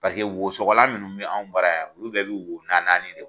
Paseke wosogɔlan minnu bɛ anw bara yan, olu bɛɛ bɛ wo naani naani de